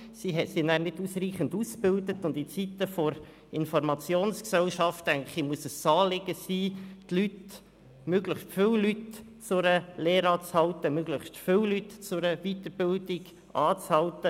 Sie sind danach nicht ausreichend ausgebildet, und in Zeiten der Informationsgesellschaft, denke ich, muss es ein Anliegen sein, möglichst viele Leute zu einer Lehre anzuhalten, möglichst viele Leute zu einer Weiterbildung anzuhalten.